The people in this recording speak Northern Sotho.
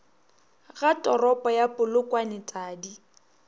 ga toropo ya polokwane tadi